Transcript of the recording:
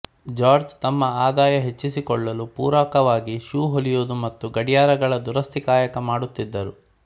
George ತಮ್ಮ ಆದಾಯ ಹೆಚ್ಚಿಸಿಕೊಳ್ಳಲು ಪೂರಕವಾಗಿ ಶೂ ಹೊಲಿಯುವುದು ಮತ್ತು ಗಡಿಯಾರಗಳ ದುರಸ್ತಿ ಕಾಯಕ ಮಾಡುತ್ತಿದ್ದರು